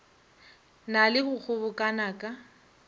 na le go kgobokana ka